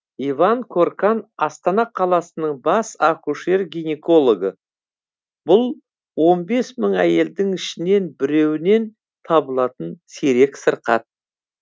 иван коркан астана қаласының бас акушер гинекологы бұл он бес мың әйелдің ішінен біреуінен табылатын сирек сырқат